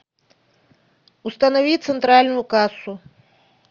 установи центральную кассу